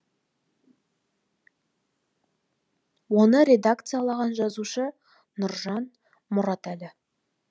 оны редакциялаған жазушы нұржан мұратәлі